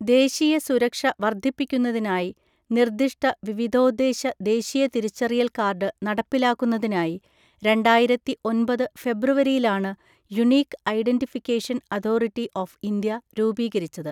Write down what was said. ദേശീയ സുരക്ഷ വർദ്ധിപ്പിക്കുന്നതിനായി നിർദ്ദിഷ്ട വിവിധോദ്ദേശ ദേശീയ തിരിച്ചറിയൽ കാർഡ് നടപ്പിലാക്കുന്നതിനായി രണ്ടായിരത്തി ഒന്‍പത് ഫെബ്രുവരിയിലാണ് unique identification authority of India രൂപീകരിച്ചത്.